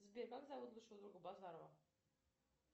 сбер как зовут лучшего друга базарова